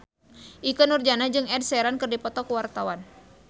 Ikke Nurjanah jeung Ed Sheeran keur dipoto ku wartawan